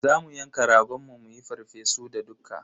Za mu yanka ragon mu muyi farfesu da dukka.